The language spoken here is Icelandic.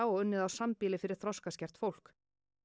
og unnið á sambýli fyrir þroskaskert fólk